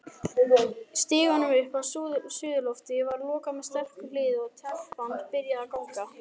Stiganum upp á súðarloftið var lokað með sterku hliði, og- telpan byrjaði að ganga.